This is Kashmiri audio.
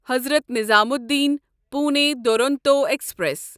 حضرت نظامودیٖن پُونے دورونتو ایکسپریس